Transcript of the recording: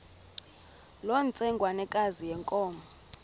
loo ntsengwanekazi yenkomo